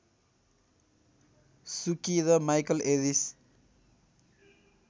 सुकी र Michael Eris